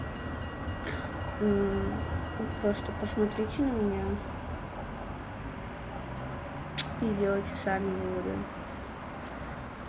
ну просто посмотрите на меня и сделать сами выводы